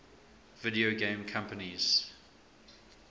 video game companies